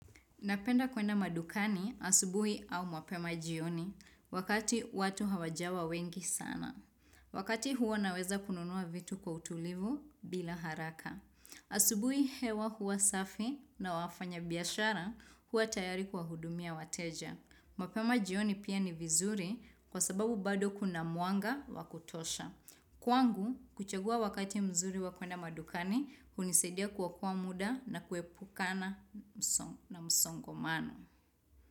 Napenda kwenda madukani asubuhi au mwapema jioni wakati watu hawajawa wengi sana. Wakati huwa naweza kununua vitu kwa utulivu bila haraka. Asubuhi hewa huwa safi na wafanya biashara huwa tayari kwa hudumia wateja. Mapema jioni pia ni vizuri kwa sababu bado kuna mwanga wa kutosha. Kwangu, kuchagua wakati mzuri wakwenda madukani, kunisaidia kuokoa muda na kuepukana na msongo mano.